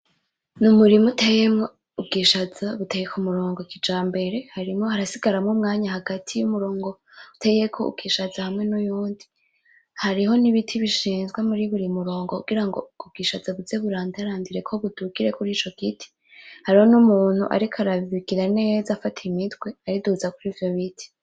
Ni umurima uteyemwo ubwishaza buteye ku murongo kijambere harimwo, harasigaramwo umwanya hagati y’umurongo uteyeko ubwishaza hamwe n’uyundi, hariho n’ibiti bishinzwe muri bur´umurongo kugira ngo ubwo bwishaza buze burandarandireko budugire kurico giti hariho n’umuntu ariko arabigira neza akata imitwe ayiduza kurico biti.